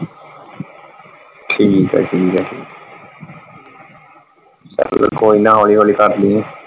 ਠੀਕ ਆ ਠੀਕ ਆ ਕੋਈ ਨਾ ਹੋਲੀ ਹੋਲੀ ਕਰਲੀ।